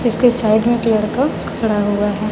जिसके साइड में एक लड़का खड़ा हुआ है।